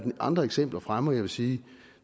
andre eksempler fremme og jeg vil sige at